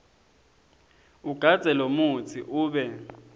ugandze lomutsi ube